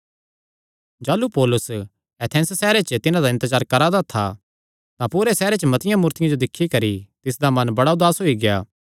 जाह़लू पौलुस एथेंस सैहरे च तिन्हां दा इन्तजार करा दा था तां पूरे सैहरे च मतिआं मूर्तियां जो दिक्खी करी तिसदा मन बड़ा उदास होई गेआ